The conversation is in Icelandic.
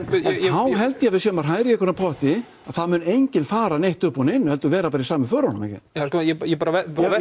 . þá held ég að við séum að hræra í einhverjum potti að það mun enginn fara neitt upp úr neinu heldur vera bara í sömu förunum ég bara